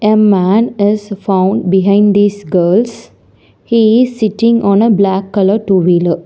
A man is found behind these girls he is sitting on a black colour two wheeler.